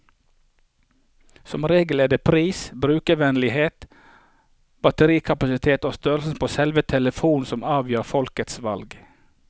Som regel er det pris, brukervennlighet, batterikapasitet og størrelsen på selve telefonen som avgjør folks valg.